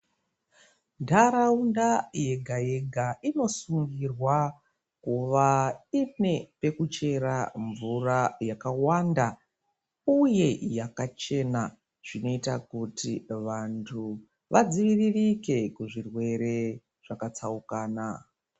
Nharaunda yega-yega inosungirwa kuva ine pekuchera mvura yakawanda, uye yakachena. Zvinoita kuti vantu vadziviririke kuzvirwere zvakatsaukana.